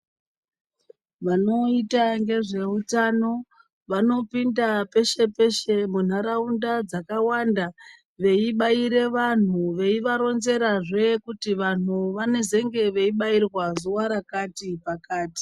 Vanoita ngezveutano vanopinda peshe peshe munharaunda dzakawanda veibaire vantu veivaronzerazve kuti vantu vanozenge veibairwa zuva rakati pakati.